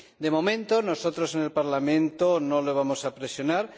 De momento, nosotros en el Parlamento no le vamos a presionar.